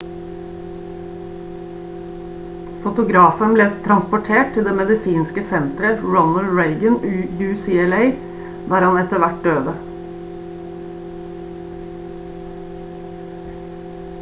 fotografen ble transportert til det medisinske senteret ronald reagan ucla der han etter hvert døde